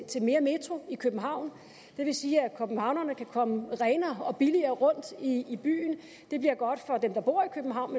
til mere metro i københavn det vil sige at københavnerne kan komme renere og billigere rundt i i byen det bliver godt for dem der bor i københavn